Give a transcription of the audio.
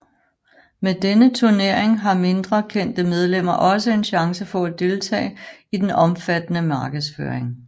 Med denne turnering har mindre kendte medlemmer også en chance for at deltage i den omfattende markedsføring